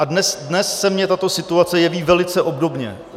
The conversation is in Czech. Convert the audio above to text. A dnes se mně tato situace jeví velice obdobně.